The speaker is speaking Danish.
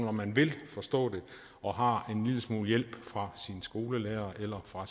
om man vil forstå det og har en lille smule hjælp fra sin skolelærer eller fra